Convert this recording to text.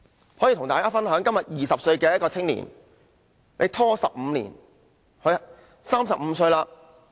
我可以跟大家分享，今天一個20歲的青年，這樣拖了15年，便35歲。